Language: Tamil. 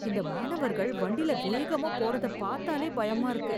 இந்த மாணவர்கள் வண்டில வேகமா போறது பாத்தாலே பயமா இருக்கு